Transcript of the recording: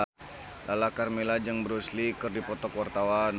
Lala Karmela jeung Bruce Lee keur dipoto ku wartawan